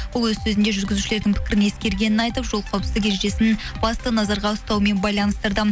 ол өз сөзінде жүргізушілердің пікірін ескергенін айтып жол қауіпсіздік ережесін басты назарға ұстаумен байланыстырды